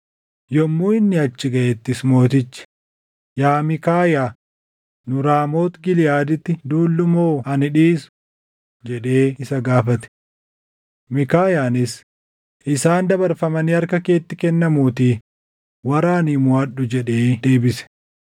Yommuu inni achi gaʼettis mootichi, “Yaa Miikaayaa, nu Raamooti Giliʼaaditti duullu moo ani dhiisu?” jedhee isa gaafate. Miikaayaanis, “Isaan dabarfamanii harka keetti kennamuutii waraanii moʼadhu” jedhee deebise.